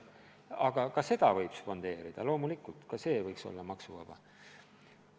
Aga ka seda võib loomulikult spondeerida, ka see võiks olla maksuvaba.